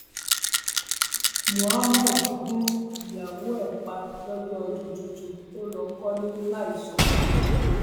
muhammed gun ìyàwó ẹ pa lọjọ ọdún tuntun ó lọ kọlé láì sọ fóun